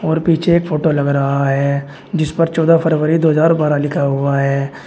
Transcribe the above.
और पीछे फोटो लग रहा है जिस पर चौदा फरवरी दो हज़ार बारह लिखा हुआ है।